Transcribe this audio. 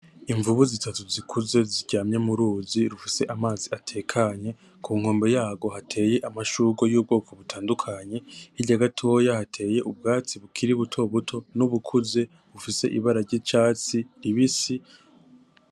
Imvubu zitatu zikuze ziryamye murizi rufise amazi atekanye, kunkombe yarwo hateye amashurwe yubwoko butandukanye, hirya gatoya hateye ubwatsi bukiri butobuto nubukuze bufise amabara ryicatsi ribisi.